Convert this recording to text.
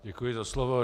Děkuji za slovo.